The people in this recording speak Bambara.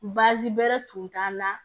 Baazi bɛrɛ tun t'a la